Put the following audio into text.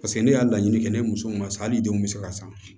Paseke ne y'a laɲini kɛ ne ye muso mun na sisan hali denw bɛ se ka san